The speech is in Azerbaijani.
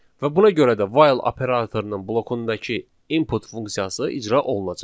Və buna görə də while operatorunun blokundakı input funksiyası icra olunacaq.